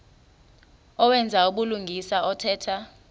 owenza ubulungisa othetha